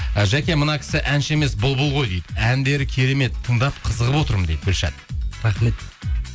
і жәке мына кісі әнші емес бұлбұл ғой дейді әндері керемет тыңдап қызығып отырмын дейді гүлшат рахмет